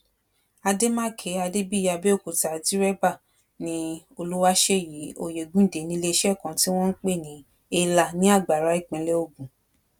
àdèmàkè adébíyì abẹ́òkúta dérèbà ni olùwáṣẹyí oyegundé níléeṣẹ́ kan tí wọn ń pè ní halya ní àgbará ìpínlẹ̀ ògùn